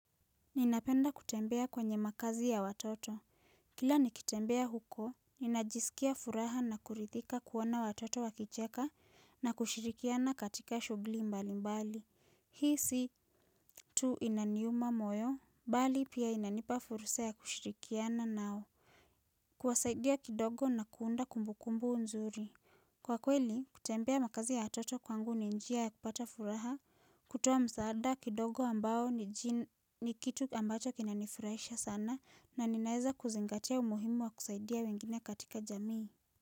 Ninapenda kutembea kwenye makazi ya watoto. Kila nikitembea huko, ninajisikia furaha na kurithika kuona watoto wakicheka na kushirikiana katika shughuli mbali mbali. Hii si tu inaniuma moyo, bali pia inanipa fursa ya kushirikiana nao. Kuwasaidia kidogo na kuunda kumbukumbu nzuri. Kwa kweli, kutembea makazi ya watoto kwangu ni njia ya kupata furaha, kutuwa msaada kidogo ambao ni nji ni kitu ambacho kinanifurahisha sana na ninaeza kuzingatia umuhimu wa kusaidia wengine katika jamii.